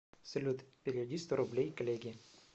салют переведи сто рублей коллеге